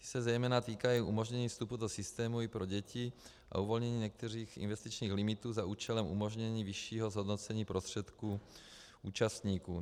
Ty se zejména týkají umožnění vstupu do systému i pro děti a uvolnění některých investičních limitů za účelem umožnění vyššího zhodnocení prostředků účastníků.